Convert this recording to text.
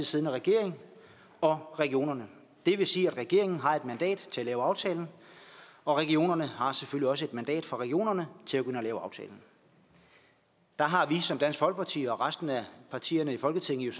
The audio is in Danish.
siddende regering og regionerne det vil sige at regeringen har et mandat til at lave aftalen og regionerne har selvfølgelig også et mandat fra regionerne til at gå ind at lave aftalen der har vi som dansk folkeparti og resten af partierne i folketinget